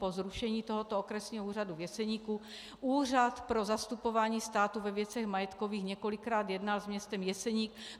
Po zrušení tohoto Okresního úřadu v Jeseníku Úřad pro zastupování státu ve věcech majetkových několikrát jednal s městem Jeseník.